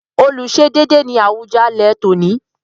Olùsedéédé” ni Awùjalẹ̀ tòní.